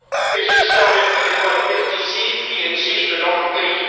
et ce en vertu des lois liberticides qui existent dans mon pays.